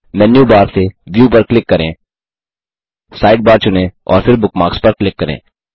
मेनू bar से view पर click करें साइडबार चुनें और फिर बुकमार्क्स पर क्लिक करें